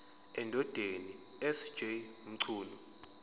endodeni sj mchunu